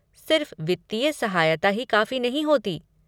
सिर्फ़ वित्तीय सहायता ही काफ़ी नहीं होती।